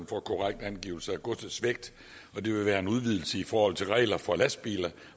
for korrekt angivelse af godsets vægt det vil være en udvidelse i forhold til regler for lastbiler